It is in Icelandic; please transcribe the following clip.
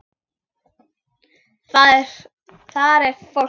Þar er fólkið.